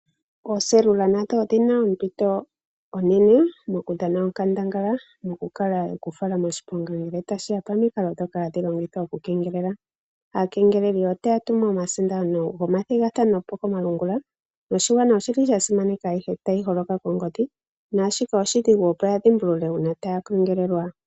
Ooselula nadho odhina ompito onene moku dhana onkandangala mokukala ye kufala moshiponga ngele tashiya pomikalo ndhoko hadhi longithwa oku kengelela. Aakengeleli otaya tunu omasindano gomathigathano komalungula noshigwana oshili shasimaneka ayihe tayi holoka kongodhi naashika oshidhigu opo ya dhimbulule uuna taya kengelelwa.